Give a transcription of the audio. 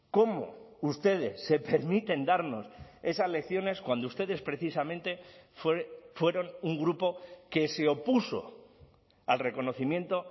cómo ustedes se permiten darnos esas lecciones cuando ustedes precisamente fueron un grupo que se opuso al reconocimiento